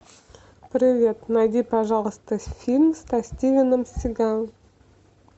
привет найди пожалуйста фильм со стивеном сигалом